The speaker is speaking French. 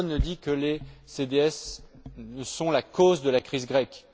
Personne ne dit que les CDS sont la cause de la crise grecque.